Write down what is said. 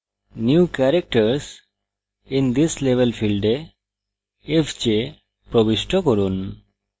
new characters in this level ফীল্ডে fj প্রবিষ্ট করুন